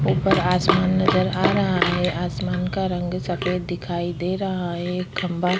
ऊपर आसमान नजर आ रहा है आसमान का रंग सफ़ेद दिखाई दे रहा है एक खम्बा --